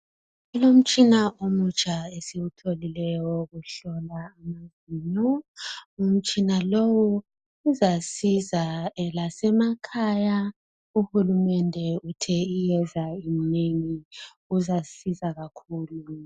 Kulomtshina omutsha esiwutholileyo owokuhlola amazinyo umtshina lowo uzasiza lasemakhaya uhulumende uthe iyeza inengi izasiza kakhulu.